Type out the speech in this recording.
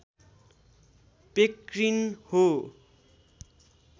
पेक्रिन हो